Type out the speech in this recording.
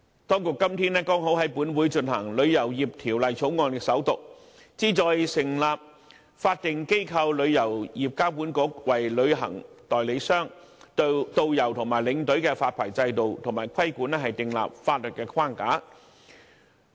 今天剛好在立法會進行首讀的《旅遊業條例草案》，旨在成立法定機構旅遊業監管局，為旅行代理商、導遊及領隊的發牌制度及規管訂立法律框架。